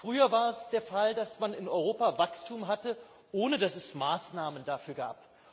Früher war es der Fall, dass man in Europa Wachstum hatte, ohne dass es Maßnahmen dafür gab.